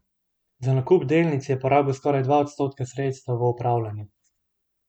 Za nakup delnic je porabil skoraj dva odstotka sredstev v upravljanju.